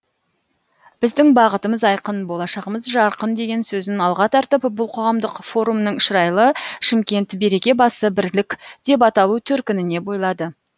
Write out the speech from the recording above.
біздің бағытымыз айқын болашағымыз жарқын деген сөзін алға тартып бұл қоғамдық форумның шырайлы шымкент береке басы бірлік деп аталу төркініне бойлады